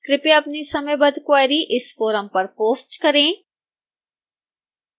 कृपया अपनी समयबद्ध क्वेरी इस फोरम पर पोस्ट करें